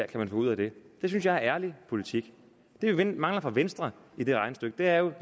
kan få ud af det det synes jeg er ærlig politik det vi mangler fra venstre i det regnestykke er jo et